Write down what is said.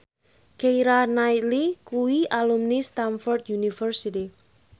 Keira Knightley kuwi alumni Stamford University